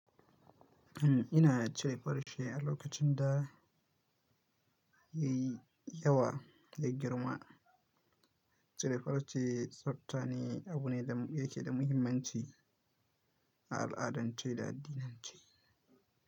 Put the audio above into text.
Ina chire farce a lokacin da yayi yawa ya girma. Chire farce tsaftane abu ne da yake da muhimmanci a al'adance da addinance.